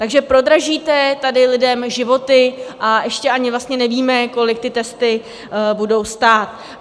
Takže prodražíte tady lidem životy a ještě ani nevíme, kolik ty testy budou stát.